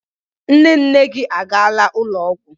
Nne nne gị a gaala ụlọ ọgwụ.